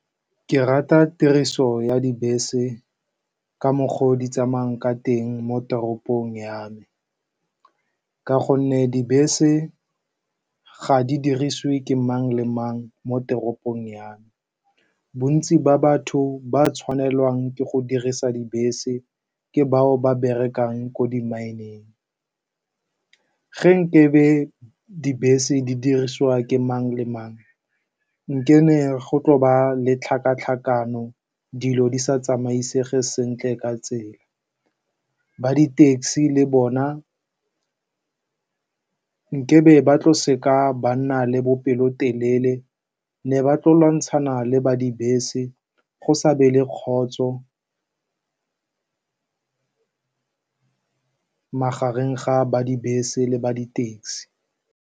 Ke rata tiriso ya dibese ka mokgwa o di tsamayang ka teng mo teropong ya me, ka gonne dibese ga di dirisiwe ke mang le mang. Mo teropong ya me, bontsi ba batho ba ba tshwanelwang ke go dirisa dibese ke bao ba berekang ko di-mine-eng. Ge nkabe dibese di dirisiwa ke mang le mang, nkabe go tla ba le tlhakatlhakano, dilo di sa tsamaisege sentle ka tsela. Ba di-taxi le bona nkabe ba tlo se ka ba nna le bopelotelele, ba ne ba tlile go lwantshana le ba dibese, go sa be le kgotso magareng ga ba dibese le ba di-taxi.